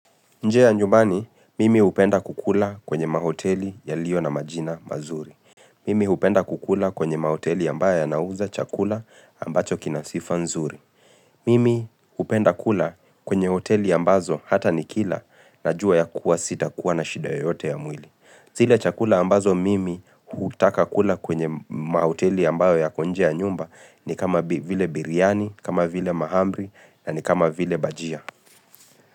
Nje ya nyumbani, mimi hupenda kukula kwenye mahoteli yaliyo na majina mazuri. Mimi hupenda kukula kwenye mahoteli ambayo yanauza chakula ambacho kinasifa nzuri. Mimi hupenda kula kwenye hoteli ambazo hata nikila najua ya kuwa sita kuwa na shida yoyote ya mwili. Zile chakula ambazo mimi hutaka kula kwenye mahoteli ambayo yako nje ya nyumba ni kama vile biryani, kama vile mahamri na ni kama vile bajia.